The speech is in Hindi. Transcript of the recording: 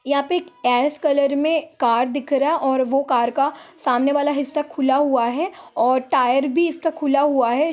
यहां पे एस कलर में कार दिख रहा हैऔर वो कार का सामने वाला हिस्सा खुला हुआ है और टायर भी इसका खुला हुआ है।